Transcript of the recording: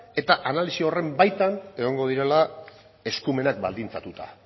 eta analisi horren baitan egongo direla eskumenak baldintzatuta